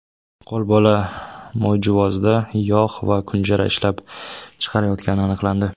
qo‘lbola moyjuvozda yog‘ va kunjara ishlab chiqarayotgani aniqlandi.